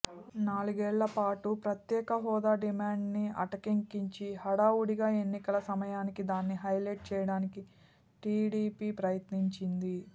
నాలుగేళ్లపాటు ప్రత్యేకహోదా డిమాండ్ ని అటకెక్కించి హడావుడిగా ఎన్నికల సమయానికి దాన్ని హైలెట్ చేయడానికి టీడీపీ ప్రయత్నించింది